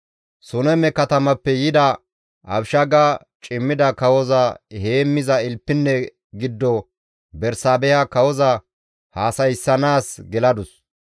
Suneme katamappe yida Abishaaga cimmida kawoza heemmiza ilpinne giddo Bersaabeha kawoza haasayssanaas geladus.